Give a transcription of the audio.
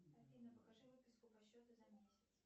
афина покажи выписку по счету за месяц